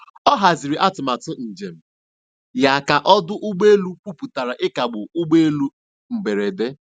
Ọ haziri atụmatụ njem ya ka ọdụ ụgbọ elu kwuputara ịkagbu ụgbọ elu mberede.